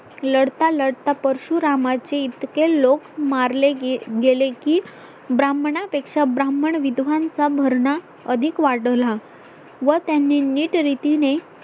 लढता लढता परशुरामाचे इतके लोक मारले गेले की ब्राह्मणापेक्षा ब्राह्मण विद्वान चा भरणा अधिक वाढला व त्याने नीट रीतीनें